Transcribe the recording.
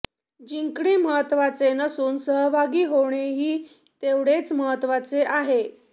जिंकणे महत्त्वाचे नसून सहभागी होणेही हे तेवढेच महत्त्वाचे आहे